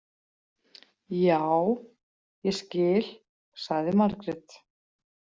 Já, ég skil, sagði Margrét.